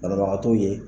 Banabagatɔw ye